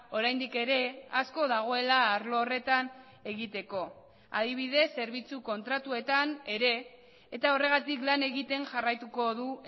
oraindik ere asko dagoela arlo horretan egiteko adibidez zerbitzu kontratuetan ere eta horregatik lan egiten jarraituko du